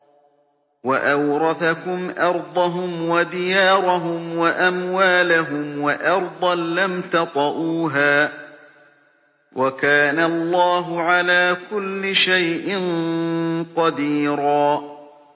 وَأَوْرَثَكُمْ أَرْضَهُمْ وَدِيَارَهُمْ وَأَمْوَالَهُمْ وَأَرْضًا لَّمْ تَطَئُوهَا ۚ وَكَانَ اللَّهُ عَلَىٰ كُلِّ شَيْءٍ قَدِيرًا